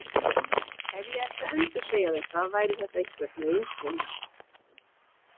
Ef ég ætti að endursegja þetta væri það einhvern veginn svona: